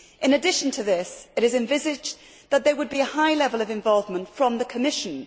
In addition to this, it is envisaged that there would be a high level of involvement from the Commission.